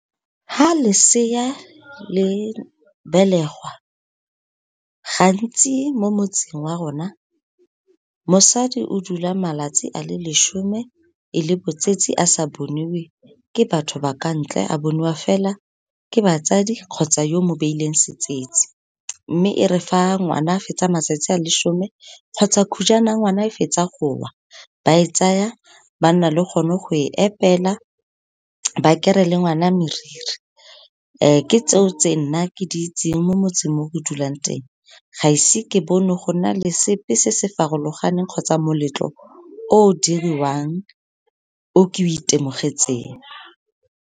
Fa lesea le belegwa, gantsi mo motseng wa rona, mosadi o dula malatsi a le lesome, e le botsetsi a sa boniwe, ke batho ba ka ntle, a boniwa fela ke batsadi kgotsa yo mo beileng setsetsi. Mme e re, fa ngwana a fetsa matsatsi a lesome kgotsa khujwana ya ngwana e fetsa go wa, ba e tsaya, ba nna le gone go e epela, ba kere le ngwana meriri. Ke tseo, tse nna ke di itseng mo motseng mo ke dulang teng, gaise ke bone go na le sepe se se farologaneng kgotsa moletlo o diriwang o ke o itemogetseng.